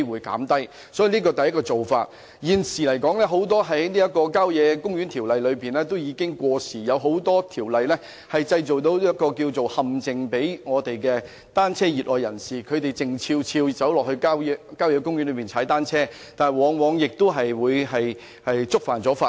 這是我想提出的第一種做法，而現時《郊野公園條例》的很多條文已經過時，亦對熱愛踏單車的人士構成陷阱，令他們要悄悄到郊野公園踏單車，但往往會觸犯法例。